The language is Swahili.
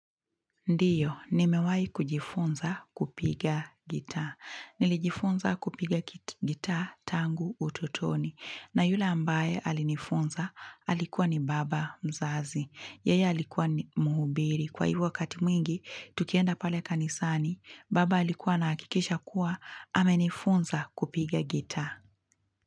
Ndiyo, nimewahi kujifunza kupiga gitaa. Nilijifunza kupiga gitaa tangu utotoni. Na yule ambaye alinifunza alikuwa ni baba mzazi. Yeye alikuwa ni mhubiri. Kwa hivyo wakati mwingi, tukienda pale kanisani, baba alikuwa anahakikisha kuwa amenifunza kupiga gitaa.